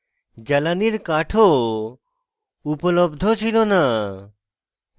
জ্বালানির কাঠ ও উপলব্ধ ছিল না